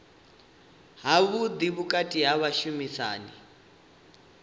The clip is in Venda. havhuḓi vhukati ha vhashumisani na